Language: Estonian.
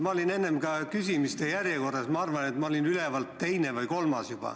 Ma olin enne ka küsimise järjekorras, ma olin ülevalt teine või kolmas.